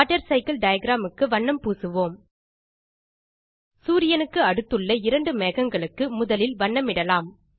water cycle diagram க்கு வண்ணம் பூசுவோம் சூரியனுக்கு அடுத்துள்ள இரண்டு மேகங்களுக்கு முதலில் வண்ணமிடலாம்